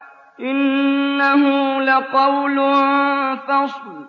إِنَّهُ لَقَوْلٌ فَصْلٌ